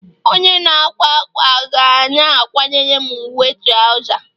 Onye na-akwa akwa ga na-akwara m uwe trouza